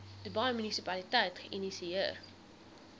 dubai munisipaliteit geïnisieer